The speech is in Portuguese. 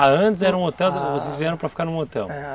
Ah, antes era um hotel, vocês vieram para ficar num hotel.